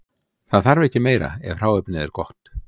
Það þarf ekki meira ef hráefnið er gott.